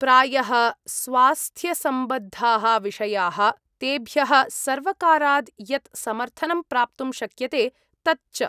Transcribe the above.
प्रायः स्वास्थ्यसम्बद्धाः विषयाः, तेभ्यः सर्वकाराद् यत् समर्थनं प्राप्तुं शक्यते तत् च।